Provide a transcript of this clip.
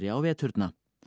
á veturna